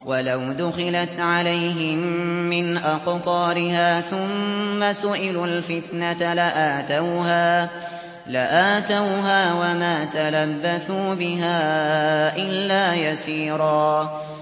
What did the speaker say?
وَلَوْ دُخِلَتْ عَلَيْهِم مِّنْ أَقْطَارِهَا ثُمَّ سُئِلُوا الْفِتْنَةَ لَآتَوْهَا وَمَا تَلَبَّثُوا بِهَا إِلَّا يَسِيرًا